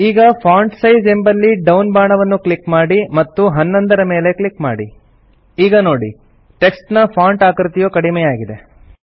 ಈಗ font size ಎಂಬಲ್ಲಿ down ಬಾಣವನ್ನು ಕ್ಲಿಕ್ ಮಾಡಿ ಮತ್ತು 11 ರ ಮೇಲೆ ಕ್ಲಿಕ್ ಮಾಡಿ ಈಗ ನೋಡಿ ಟೆಕ್ಸ್ಟ್ ನ ಫಾಂಟ್ ಆಕೃತಿಯು ಕಡಿಮೆಯಾಗಿದೆ